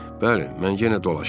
Bəli, mən yenə dolaşdım.